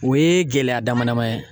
O ye gɛlɛya damadama ye